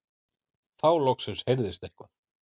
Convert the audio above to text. Þá loksins heyrðist eitthvað.